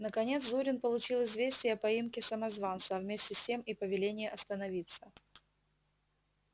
наконец зурин получил известие о поимке самозванца а вместе с тем и повеление остановиться